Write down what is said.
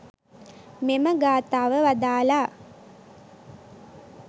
මෙම ගාථාව වදාළා.